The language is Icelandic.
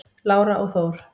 Lára og Þór.